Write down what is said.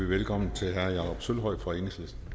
velkommen til herre jakob sølvhøj